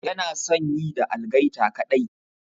Yana son yi da algaita kaɗai.